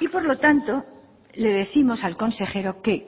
y por lo tanto le décimos al consejero que